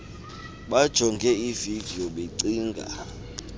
bajonge ividiyo becinga